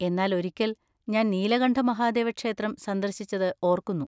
എന്നാൽ ഒരിക്കൽ ഞാൻ നീലകണ്ഠ മഹാദേവ ക്ഷേത്രം സന്ദർശിച്ചത് ഓർക്കുന്നു.